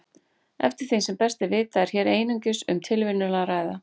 Eftir því sem best er vitað er hér einungis um tilviljun að ræða.